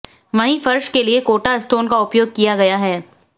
वहीं फर्श के लिए कोटा स्टोन का उपयोग किया गया है